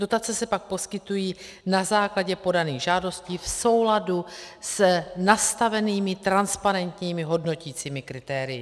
Dotace se pak poskytují na základě podaných žádostí v souladu s nastavenými transparentními hodnoticími kritérii.